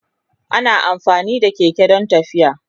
Ana amfani da keke don tafiya.